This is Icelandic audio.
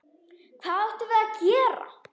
Hvað áttum við að gera?